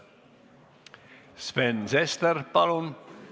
Sven Sester, palun!